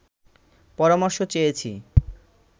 পরামর্শ চেয়েছি